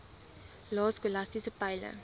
lae skolastiese peile